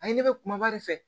A ye ne bɛ kumaba de fɛ